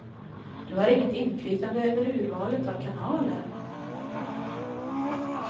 Du har inget inflytande över urvalet av kanaler.